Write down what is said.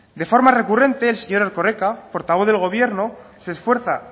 de forma recurrente el señor erkoreka portavoz del gobierno se esfuerza